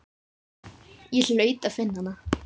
Ég hlaut að finna hana.